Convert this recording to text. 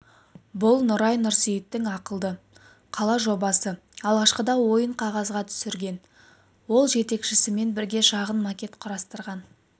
бұл нұрай нұрсейіттің ақылды қала жобасы алғашқыда ойын қағазға түсірген ол жетекшісімен бірге шағын макет құрастырған